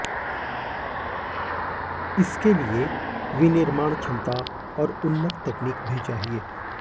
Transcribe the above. इसके लिए विनिर्माण क्षमता और उन्नत तकनीक भी चाहिए